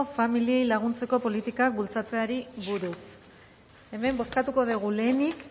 familiei laguntzeko politika bultzatzeari buruz hemen bozkatuko dugu lehenik